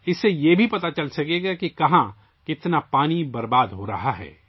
اس سے یہ بھی پتہ چلے گا کہ کہاں اور کتنا پانی ضائع ہو رہا ہے